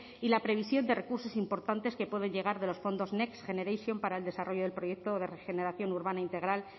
y la previsión de recursos importantes que pueden llegar de los fondos next generation para el desarrollo del proyecto de regeneración urbana integral